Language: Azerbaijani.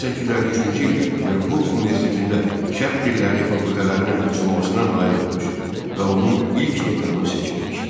1853-cü ildə Peterburq Universitetində Şərq dilləri fakültələrinin açılmasına nail olmuş və onun ilk dekanı seçilmişdi.